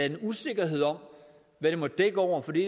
en usikkerhed om hvad det måtte dække over for det